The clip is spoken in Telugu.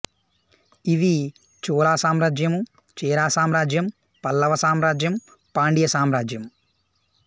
ఇవి చోళ సామ్రాజ్యము చేర సామ్రాజ్యం పల్లవ సామ్రాజ్యం పాండియ సామ్రాజ్యం